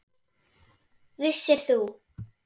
Vissir þú.